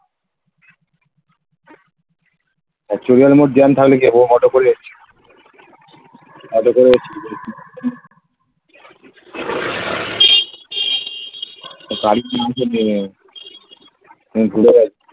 তা চরিয়াল মোর jam থাকলে কি হবে auto করে এসেছি auto করে . আমি ঘুরে বেড়াচ্ছি